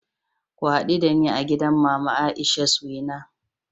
Ku hadu dani a gidan Mama Aisha's Wena